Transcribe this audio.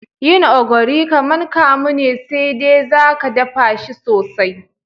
Yin ogiri kaman kamu ne sai de zaka daffa shi sosai.